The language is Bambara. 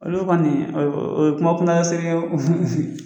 Olu kɔni o ye kuma kunaya serikɛ o